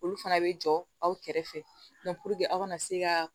Olu fana bɛ jɔ aw kɛrɛfɛ aw kana se ka